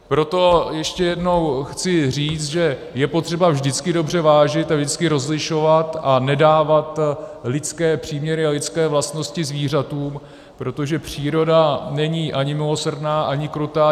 Proto ještě jednou chci říct, že je potřeba vždycky dobře vážit a vždycky rozlišovat a nedávat lidské příměry a lidské vlastnosti zvířatům, protože příroda není ani milosrdná, ani krutá.